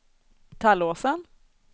Tallåsen